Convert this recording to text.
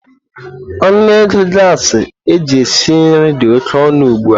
Ọnụ ego gasi eji esi nri dị oke ọnụ ugbu a.